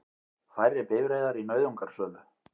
Færri bifreiðar í nauðungarsölu